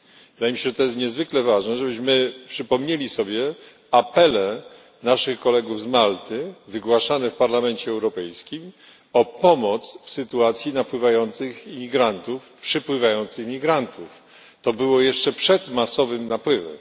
Wydaje mi się, że to jest niezwykle ważne, żebyśmy przypomnieli sobie apele naszych kolegów z Malty wygłaszane w Parlamencie Europejskim o pomoc w sytuacji napływających imigrantów, przepływających imigrantów. To było jeszcze przed masowym napływem.